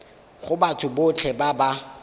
go batho botlhe ba ba